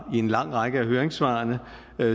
i en lang række af høringssvarene